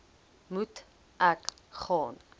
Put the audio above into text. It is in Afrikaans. moet ek gaan